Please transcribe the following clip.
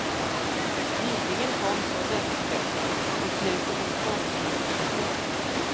Nyligen kom så dödsstöten, beslutet om tvångslikvidation.